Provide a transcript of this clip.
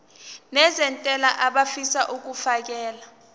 nezentela abafisa uukfakela